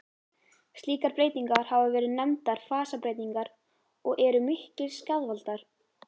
Slíkar breytingar hafa verið nefndar fasabreytingar og eru miklir skaðvaldar.